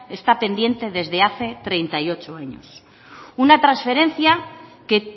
está pendiente desde hace treinta y ocho años una transferencia que